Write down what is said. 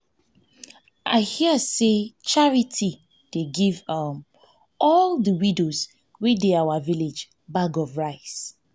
i hear say charity dey give um all the widows wey dey our village bag of rice um